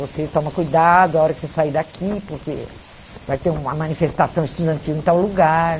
Você toma cuidado na hora que você sair daqui, porque vai ter uma manifestação estudantil em tal lugar.